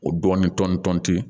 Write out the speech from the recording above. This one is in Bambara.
O dɔɔnin tɔnti